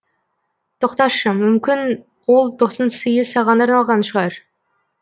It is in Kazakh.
тоқташы мүмкін ол тосын сыйы саған арналған шығар